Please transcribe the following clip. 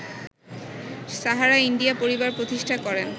Sahara India Pariwar প্রতিষ্ঠা করেন